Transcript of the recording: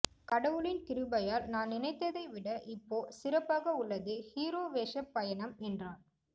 கடவுளின் கிருபையால் நான் நினைத்ததை விட இப்போ சிறப்பாக உள்ளது ஹீரோ வேஷ பயணம் என்றார்